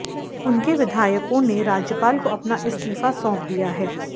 उनके विधायकों ने राज्यपाल को अपना इस्तीफा सौंप दिया है